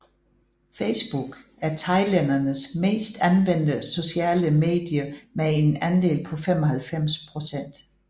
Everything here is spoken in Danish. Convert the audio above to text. Facebook er thailændernes mest anvendte sociale medie med en andel på 95 procent